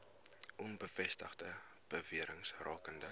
onbevestigde bewerings rakende